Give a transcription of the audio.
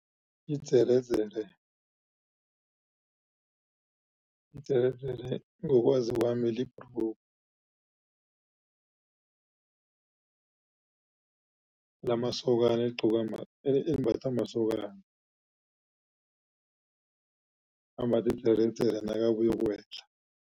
Idzeredzere, idzeredzere ngokwazi kwami libhrugu lamasokana eligcokwa elimbathwa masokana, ambatha idzeredzere nakabuyokuwela.